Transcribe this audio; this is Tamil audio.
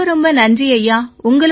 ரொம்ப ரொம்ப நன்றி ஐயா